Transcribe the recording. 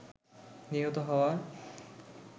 নিহত হওয়ার